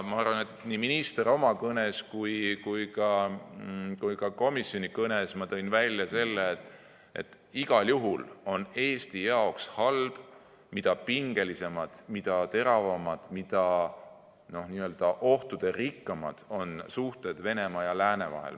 Nii minister tõi oma kõnes kui ka mina tõin komisjoni kõnes välja, et igal juhul on Eesti jaoks seda halvem, mida pingelisemad, teravamad, ohtuderikkamad on suhted Venemaa ja lääne vahel.